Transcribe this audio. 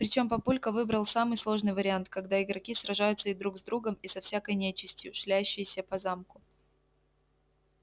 причём папулька выбрал самый сложный вариант когда игроки сражаются и друг с другом и со всякой нечистью шляющейся по замку